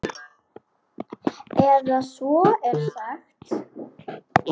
Eða svo er sagt.